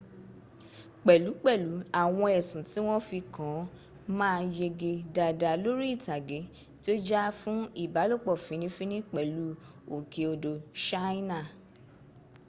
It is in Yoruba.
pẹ̀lú pẹ̀lú àwọn ẹ̀sùn tí wọ́n fi kan an ma yege dada lori itage ti o já fún ìbálòpọ̀ fini fini pẹ̀lú òkè odò ṣáínà